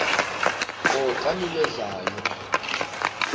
qho xa niwenzayo